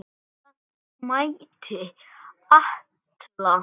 Það mætti ætla.